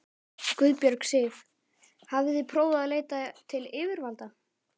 Guðbjörg Sif: Hafið þið prófað að leita til yfirvalda?